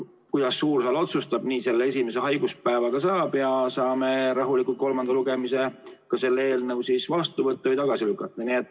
Kuidas suur saal otsustab, nii selle esimese haiguspäevaga saab, ja saame rahulikult kolmanda lugemisega selle eelnõu siis vastu võtta või tagasi lükata.